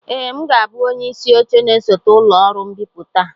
ee, m ga-abụ onye isi oche na-esote ụlọ ọrụ mbipụta a